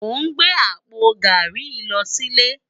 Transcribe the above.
Mó n gbé àpó gàrí yi lò silé